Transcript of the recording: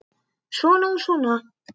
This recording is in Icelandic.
Svona og svona.